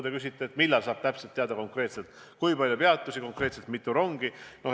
Te küsite, millal saab täpselt teada, kui palju peatusi ja konkreetselt mitu rongi tuleb.